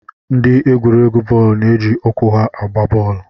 Ndị egwuregwu bọọlụ na-eji ụkwụ ha agba bọọlụ